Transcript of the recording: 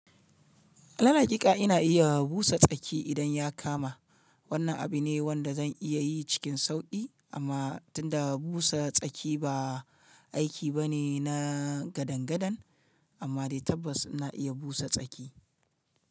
Dan hakika ina iya busa tsaki idan ya kama. Wannan abu ne wanda zan iya yi cikin sauƙi amma tunda busa tsaki ba aiki bane na gadangadan amma dai tabbas ina iya busa tsaki.